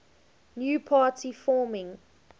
new party forming